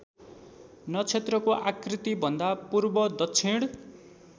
नक्षत्रको आकृतिभन्दा पूर्वदक्षिण